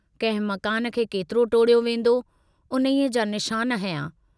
कंहिं मकान खे केतिरो टोड़ियो वेन्दो, उन्हीअ जा निशान हंया।